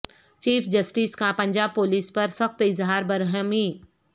chief justice کا Punjab police پر سخت اظہار برہمی